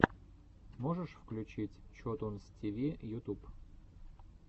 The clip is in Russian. можешь включить чотунз ти ви ютуб